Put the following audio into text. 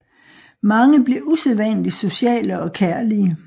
Mange bliver usædvanligt sociale og kærlige